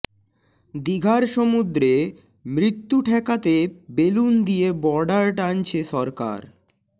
দিঘার সমুদ্রে মৃত্যু ঠেকাতে বেলুন দিয়ে বর্ডার টানছে সরকার